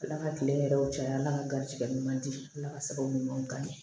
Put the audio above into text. Ala ka kile yɛrɛw caya ala ka garisigɛ ɲuman di ala ka sababu ɲumanw kan ɲe